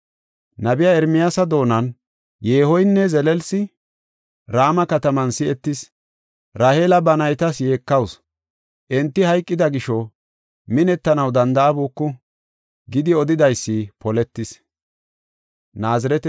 Nabiya Ermiyaasa doonan, “Yeehoynne zelelsi, Rama kataman si7etis. Raheela ba naytas yeekawusu; enti hayqida gisho minettanaw danda7abuku” gidi odidaysi poletis.